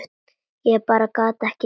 Ég bara gat það ekki.